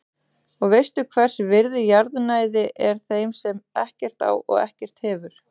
Og veist hvers virði jarðnæði er þeim sem ekkert á og ekkert hefur.